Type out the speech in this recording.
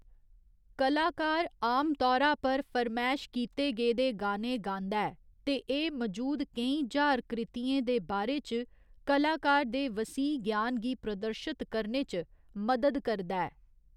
कलाकार आमतौरा पर फरमैश कीते गेदे गाने गांदा ऐ ते एह्‌‌ मजूद केईं ज्हार कृतियें दे बारे च कलाकार दे वसीह ज्ञान गी प्रदर्शत करने च मदद करदा ऐ।